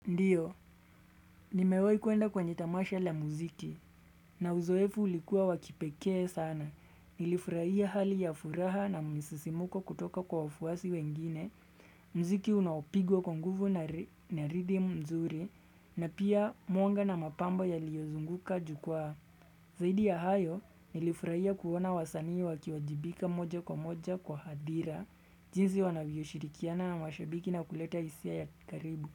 Ndiyo, nimewahi kuenda kwenye tamasha la muziki, na uzoefu ulikuwa wa kipekee sana. Nilifurahia hali ya furaha na misisimuko kutoka kwa wafuasi wengine, mziki unaopigwa kwa nguvu na redeem mzuri, na pia mwanga na mapambo yaliyozunguka jukwaa. Zaidi ya hayo, nilifurahia kuona wasanii wakiwajibika moja kwa moja kwa hadhira, jinsi wanavyoshirikiana na mashabiki na kuleta hisia ya karibu.